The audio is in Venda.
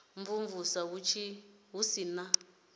u imvumvusa hu si na